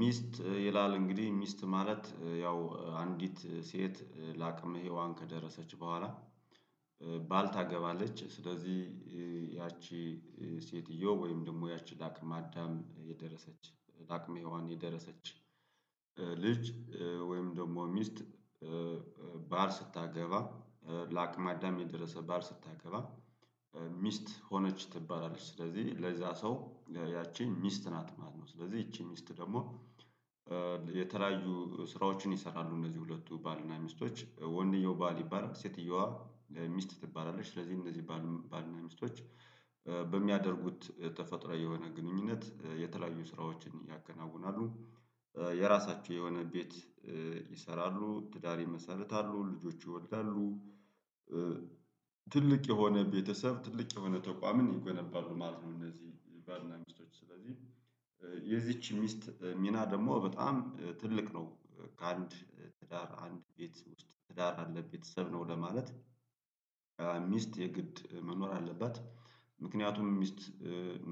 ሚስት ይላል እንግዲህ ሚስት ማለት ያው አንዲት ሴት ለአቅመ ሄዋን ከደረሰች በኋላ ባል ታገባለች። ስለዚህ ያቺ ሴትዮ ወይም ደግሞ ያቺ ለአቅመ አዳም የደረሰች ለአቅመ ሄዋን የደረሰች ልጅ ወይም ደግሞ ሚስት ባል ስታገባ ለአቅመ አዳም የደረሰ ባል ስታገባ ሚስት ሆነች ትባላለች። ስለዚህ ለዛ ሰው ያቺን ሚስት ናት ማነው ስለዚህ ይቺ ደግሞ የተለያዩ ስራዎችን ይሰራሉ እነዚህ ሁለቱ ባልና ሚስቶች ወንድየው ባል ይባላል ሴትየዋ ሚስት ትባላለች። ስለዚህ እንደዚህ ባል እና ሚስቶች በሚያደርጉት ተፈጥሯዊ የሆነ ግንኙነት የተለያዩ ስራወችን ያከናውናሉ የራሳቸው የሆነ ቤት ይሰራሉ ትዳር ይመሰርታሉ ልጆች ይወዳሉ ትልቅ የሆነ ቤተሰብ ትልቅ የሆነ ተቋምን ይገነባሉ ማለት ነው። እነዚህ ባልና ሚስቶች ስለዚህ የዚች ሚስት ሚና ደግሞ በጣም ትልቅ ነው ከአንድ ትዳር አንድ ቤት ውስጥ ትዳር አለ ቤተሰብ ነው ለማለት ሚስት የግድ መኖር አለባት። ምክንያቱም ሚስት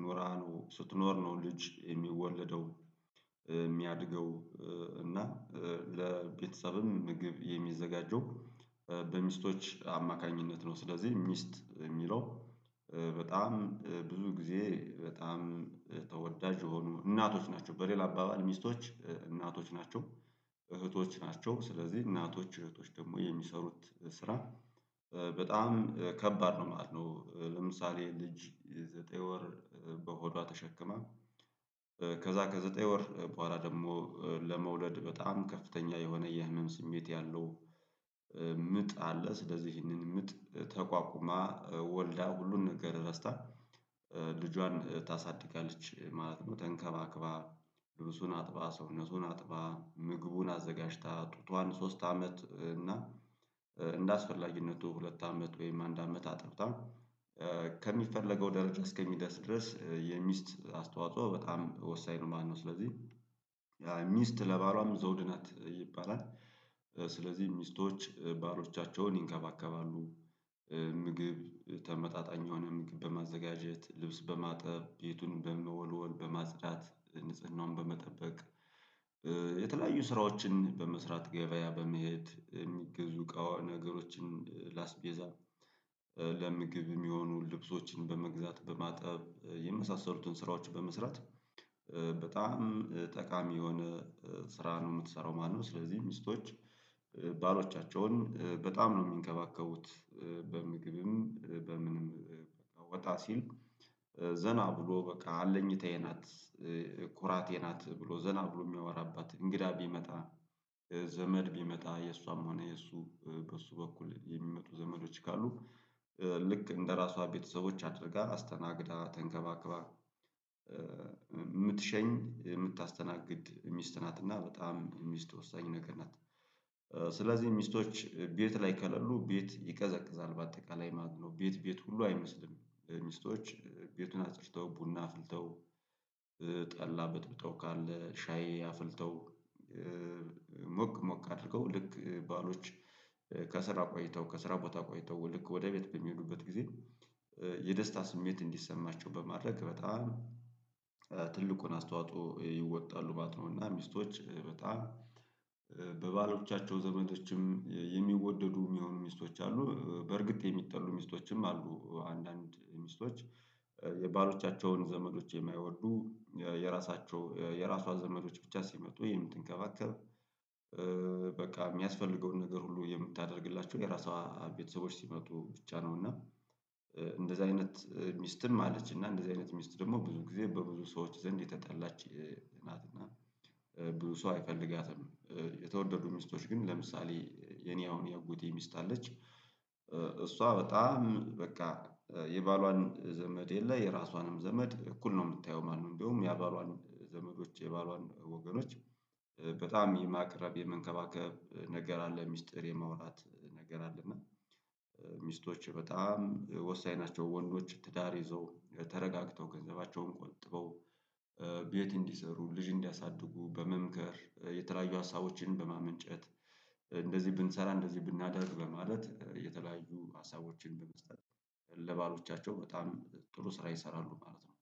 ኑራ ነው ስትኖር ነው ልጅ የሚወለደው የሚያድገው እና ለቤተሰብም ምግብ የሚዘጋጀው በሚስቶች አማካኝነት ነው። ስለዚህ ሚስት የሚለው በጣም ብዙ ጊዜ በጣም ተወዳጅ የሆኑ እናቶች ናቸው በሌላ አባባል ሚስቶች እናቶች ናቸው እህቶች ናቸው ስለዚህ እናቶች እህቶች ደግሞ የሚሰሩት ስራ በጣም ከባድ ነው ማለት ነው። ለምሳሌ ልጅ ዘጠኝ ወር በሆዷ ተሸክማ ከዛ ከዘጠኝ ወር በኋላ ደግሞ ለመውለድ በጣም ከፍተኛ የሆነ የህመም ስሜት ያለው ምጥ አለ። ስለዚህ ይህንን ምጥ ተቋቁማ ወልዳ ሁሉን ነገር ረስታ ልጇን ታሳድጋለች ማለት ነው። ተንከባክባ ልብሱን አጥባ ሰውነቱን አጥባ ምግቡን አዘጋጅታ ጡቷን ሶስት አመት እና እንደ አስፈላጊነቱ ሁለት አመት ወይም አንድ አመት አጥብታ ከሚፈለገው ደረጃ እስከሚደርስ ድረስ የሚስት አስተዋጽኦ በጣም ወሳኝ ነው። ማለት ስለዚህ ያ ሚስት ለባሏም ዘውድ ናት ይባላል። ስለዚህ ሚስቶች ባሮቻቸውን ይንከባከባሉ ምግብ ተመጣጣኝ የሆነ በማዘጋጀት ልብስ በማጠብ ቤቱን በመወልወል በማጽዳት ንጽህናውን በመጠበቅ የተለያዩ ስራዎችን በመስራት ገበያ በመሄድ የሚገዙ እቃዎችን ነገሮችን ላስቤዛ ለምግብ የሚሆኑ ልብሶችን በመግዛት በማጠብ የመሳሰሉትን ስራዎች በመስራት በጣም ጠቃሚ የሆነ ስራ ነው የምትሰራው ማለት ነው። ስለዚህ ሚስቶች ባሎቻቸውን በጣም ነው የሚንከባከቡት በምግብም በምንም ወጣ ሲል ዘና ብሎ በቃ አለኝታዬ ናት ኩራቴ ናት ብሎ ዘና ብሎ የሚያወራባት እንግዳ ቢመጣ ዘመድ ቢመጣ የእሷም ሆነ የእሱ በሱ በኩል የሚመጡ ዘመዶች ካሉ ልክ እንደራሷ ቤተሰቦች አድርጋ አስተናግዳ ተንከባክባ የምትሸኝ የምታስተናግድ ሚስት ናት እና በጣም ሚስት ወሳኝ ነገር ናት። ስለዚህ ሚስቶች ቤት ላይ ከለሉ ቤት ይቀዘቅዛል በአጠቃላይ ማለት ነው ቤት ቤት ሁሉ አይመስልም ሚስቶች ቤቱን አፅድተው ቡና አፍልተው ጠላ በጥብጠው ካለ ሻይ አፍልተው ሞቅ ሞቅ አድርገው ልክ ባሎች ከስራ ቆይተው ከስራ ቦታ ቆይተው ወደ ቤት በሚሄዱበት ጊዜ የደስታ ስሜት እንዲሰማቸው በማድረግ በጣም ትልቁን አስተዋጽኦ ይወጣሉ ማለት ነው። እና ሚስቶች በጣም በባሎቻቸው ዘመዶችም የሚወደዱ የሚሆኑ ሚስቶች አሉ በእርግጥ የሚጠሉ ሚስቶችም አሉ አንዳንድ ሚስቶች የባሎቻቸውን ዘመዶች የማይወዱ የራሷ ዘመዶች ብቻ ሲመጡ የምትከባከብ በቃ የሚያስፈልገውን ነገር ሁሉ የምታደርግላቸው የራሷ ቤተሰቦች ሲመጡ ብቻ ነው። እና እንደዛ አይነት ሚስትን ማለት እና እንደዛ አይነት ሚስት ደግሞ ብዙ ጊዜ በብዙ ሰዎች ዘንድ የተጠላች ናት እና ብዙ ሰው አይፈልጋትም። የተወደዱ ሚስቶች ግን ለምሳሌ የኔ አሁን የአጎቴ ሚስት አለች እሷ በጣም በቃ የባሏን ዘመድ የለ የራሷንም ዘመድ እኩል ነው የምታየው ማንም እንደውም የባሏን ዘመዶች የባሏን ወገኖች በጣም የማቅረብ የመንከባከብ ነገር አለ ሚስጥር የማውራት ነገር አለ አለና ሚስቶች በጣም ወሳኝ ናቸው። ወንዶች ትዳር ይዘው ተረጋግተው ገንዘባቸውን ቆጥበው ቤት እንዲሰሩ ልጅ እንዲያሳድጉ በመምከር የተለያዩ ሀሳቦችን በማመንጨት እንደዚህ ብንሰራ እንደዚህ ብናደርግ በማለት የተለያዩ ሀሳቦችን በመስጠት ለባሎቻቸው በጣም ጥሩ ስራ ይሰራሉ ማለት ነው